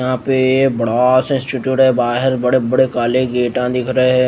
यहा पे बड़ा सा इंस्टीट्यूट है बाहर बड़े बड़े काले गेटां दिख रहे है।